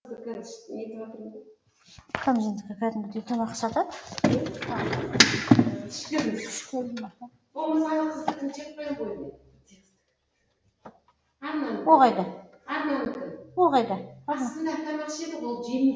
бірақ сенің әнші болуыңа бар үлесімді қосқым келді